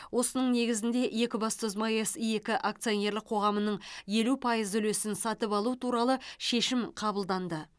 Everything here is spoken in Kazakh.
осының негізінде екібастұз маэс екі акционерлік қоғамының елу пайыз үлесін сатып алу туралы шешім қабылданды